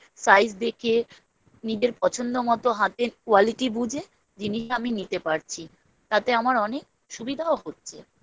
Size দেখে নিজের পছন্দ মতো হাতে quality বুঝে জিনিস আমি নিতে পারছি তাতে আমার অনেক সুবিধাও হচ্ছে